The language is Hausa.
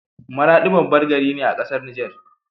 Maradi babban gari ne a ƙasar Niger